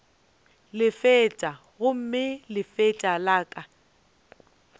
lefatša gomme lefatša la ka